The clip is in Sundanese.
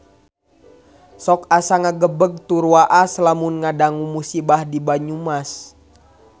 Sok asa ngagebeg tur waas lamun ngadangu musibah di Banyumas